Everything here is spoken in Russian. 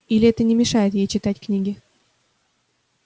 или это не мешает ей читать книги